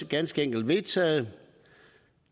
ganske enkelt vedtaget